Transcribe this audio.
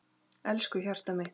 Elsku hjartað mitt.